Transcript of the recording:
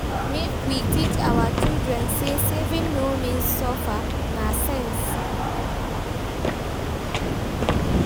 Make we teach our children say saving no mean suffer, na sense.